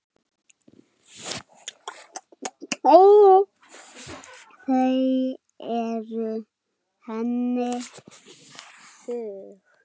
Þau eru henni þung.